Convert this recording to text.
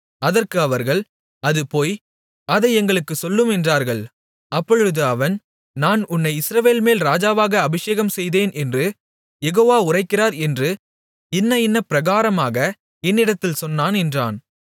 அதற்கு அவர்கள் அது பொய் அதை எங்களுக்குச் சொல்லும் என்றார்கள் அப்பொழுது அவன் நான் உன்னை இஸ்ரவேலின்மேல் ராஜாவாக அபிஷேகம்செய்தேன் என்று யெகோவா உரைக்கிறார் என்று இன்ன இன்ன பிரகாரமாக என்னிடத்தில் சொன்னான் என்றான்